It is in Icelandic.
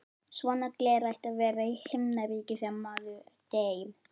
Svona gler ætti að vera í Himnaríki þegar maður deyr.